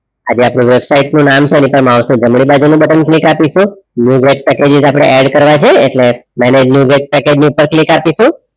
આ જે આપણે વેબસાઈટ નું નામે છે એની ઉપર માઉસ નું જમણી બાજુ નું click અપિસું પેકેજીસ આપણે add કરવા છે એટલે પેકેજ ની ઉપપર click અપિસું